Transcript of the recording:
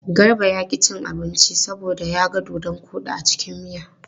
Garba ya ƙi cin abinci saboda ya ga dodon koɗi a cikin miya.